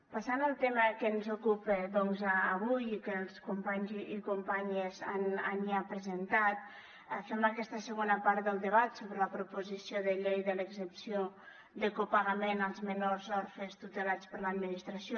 passant al tema que ens ocupa doncs avui i que els companys i companyes han ja presentat fem aquesta segona part del debat sobre la proposició de llei de l’exempció de copagament als menors orfes tutelats per l’administració